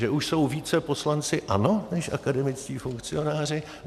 Že už jsou více poslanci ANO než akademičtí funkcionáři?